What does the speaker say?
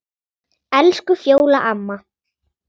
Elsku Fjóla amma.